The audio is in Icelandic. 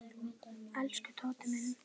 Elsku Tóti minn.